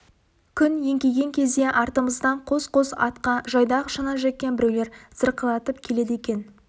күн еңкейген кезде артымыздан қос-қос атқа жайдақ шана жеккен біреулер зырқыратып келеді екен